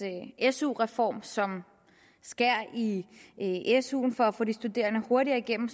su reform som skærer i suen for at få de studerende hurtigere igennem